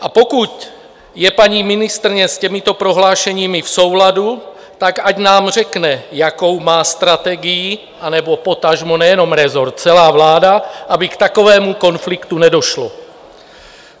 A pokud je paní ministryně s těmito prohlášeními v souladu, tak ať nám řekne, jakou má strategii, anebo potažmo nejenom rezort, celá vláda, aby k takovému konfliktu nedošlo.